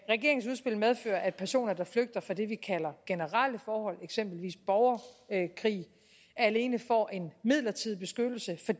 regeringens udspil medfører at personer der flygter fra det vi kalder generelle forhold eksempelvis borgerkrig alene får en midlertidig beskyttelse for